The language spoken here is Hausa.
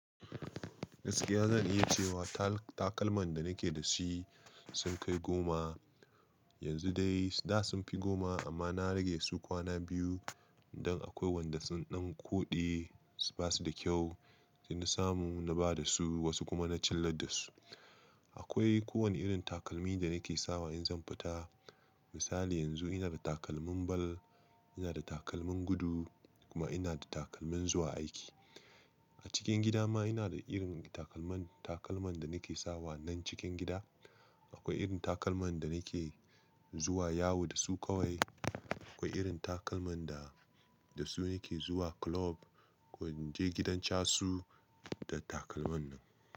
Gaskiya zan iya cewa takalman da nake dashi sun kai goma. Yanzu dai da sunfi goma amma na rage su kwana biyu don akwai wanda sun ɗan koɗe, basuda kyau. Sai na samu na badasu, wasu kuma na cillar dasu. Akwai kowane irin takalmi da ni ke sawa in zan fita. Misali yanzu ina da takalmin bal, ina da takalmin gudu kuma ina da takalmin zuwa aiki. A cikin gida ma ina da irin takalman, takalman da ni ke sawa nan cikin gida. Akwai irin takalman da nake zuwa yawu dasu kawai. Akwai irin takalman da, dasu nake zuwa club ko inje gidan casu da takalman nan.